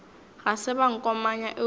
ga se ba nkomanya eupša